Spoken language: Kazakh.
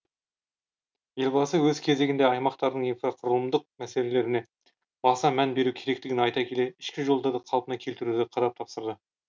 елбасы өз кезегінде аймақтардың инфрақұрылымдық мәселелеріне баса мән беру керектігін айта келе ішкі жолдарды қалпына келтіруді қадап тапсырды